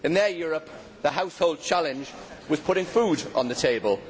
In their Europe the household challenge was putting food on the table.